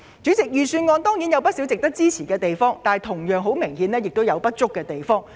主席，預算案固然有不少值得支持的措施，但同樣有明顯的不足之處。